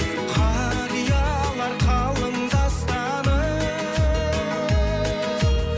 қариялар қалың дастаным